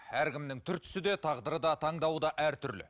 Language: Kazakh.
әркімнің түр түсі де тағдыры да таңдауы да әртүрлі